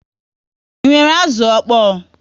Ị nwèrè azụ ọkpọ?